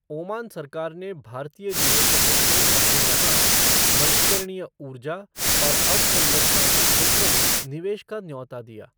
Oman सरकार ने भारतीय निवेशकों को अपने यहां नीवकरणीय उूर्जा और अवसंरचना के क्षेत्र में निवेश का न्यौता दिया।